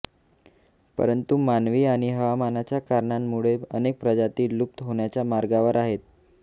पंरतु मानवी आणि हवामानाच्या कारणांमुळे अनेक प्रजाती लुप्त होण्याच्या मार्गावर आहेत